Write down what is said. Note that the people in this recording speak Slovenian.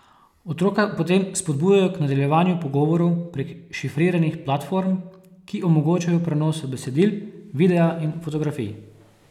Otroka potem spodbujajo k nadaljevanju pogovorov prek šifriranih platform, ki omogočajo prenose besedil, videa in fotografij.